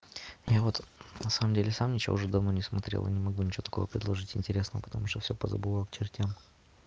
и вот на самом деле сам ничего уже давно не смотрел и не могу ничего такого предложить интересного потому что все позабывал к чертям